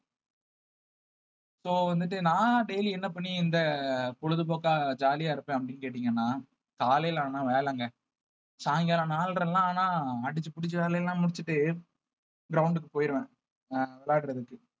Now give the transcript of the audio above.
so வந்துட்டு நான் daily என்ன பண்ணி இந்த பொழுதுபோக்கா jolly ஆ இருப்பேன் அப்படின்னு கேட்டீங்கன்னா காலையில ஆனா வேலைங்க சாயங்காலம் நாலரை எல்லாம் ஆனா அடிச்சு புடிச்சு வேலையெல்லாம் முடிச்சுட்டு ground க்கு போயிருவேன் அஹ் விளையாடுறதுக்கு